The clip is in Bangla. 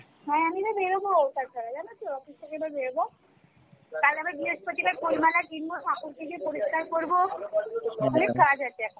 হ্যাঁ আমি না বেরুবো office থেকে এবার বেরুবো কারণ আমার বৃহস্পতি বার ফুল মালা কিনবো কাপড় কেঁচে পরিষ্কার করবো অনেক কাজ আছে এখন